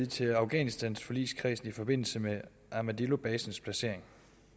til afghanistanforligskredsen i forbindelse med armadillobasens placering